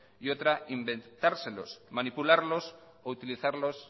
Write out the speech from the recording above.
y otra inventárselos manipularlos o utilizarlos